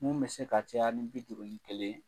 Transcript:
Mun bɛ se ka caya ni bi duuru ni kelen ye.